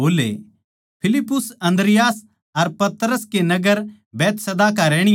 फिलिप्पुस अन्द्रियास अर पतरस बैतसैदा नगर का रहणीया था